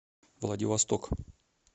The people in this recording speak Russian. владивосток